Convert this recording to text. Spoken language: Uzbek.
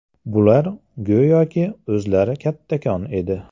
Bular go‘yoki o‘zlari kattakon edi.